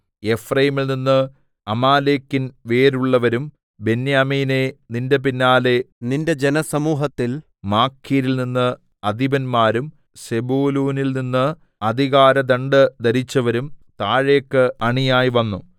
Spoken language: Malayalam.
എഫ്രയീമിൽനിന്ന് അമാലേക്കിൽ വേരുള്ളവരും ബെന്യാമീനേ നിന്റെ പിന്നാലെ നിന്റെ ജനസമൂഹത്തിൽ മാഖീരിൽനിന്ന് അധിപന്മാരും സെബൂലൂനിൽനിന്ന് അധികാര ദണ്ഡ് ധരിച്ചവരും താഴേക്ക് അണിയായി വന്നു